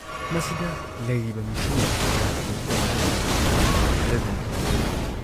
ꯃꯁꯤꯗ ꯂꯩꯔꯤꯕ ꯃꯤꯁꯤꯡꯅ ꯂꯥꯈ ꯅꯤꯐꯨꯃꯉꯥꯗꯅꯤ ꯈꯔꯗꯪ ꯄꯥꯎꯗꯝꯃꯤ